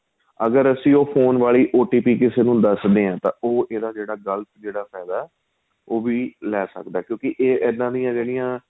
ਅਗਰ ਅਸੀਂ ਉਹ ਫੋਨ ਵਾਲੀ O T P ਕਿਸੇ ਨੂੰ ਦੱਸ ਦਈਏ ਤਾਂ ਉਹ ਇਹਦਾ ਜਿਹੜਾ ਗ਼ਲਤ ਜਿਹੜਾ ਫ਼ੈਦਾ ਏ ਉਹ ਵੀ ਲੈ ਸਕਦਾ ਏ ਕਿਉਂਕਿ ਇਹਦਾ ਦੀਆਂ ਜਿਹੜੀਆਂ